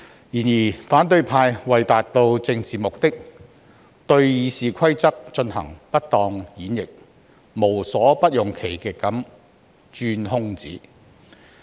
然而，反對派為達致政治目的，對《議事規則》進行不當演繹，無所不用其極地鑽空子。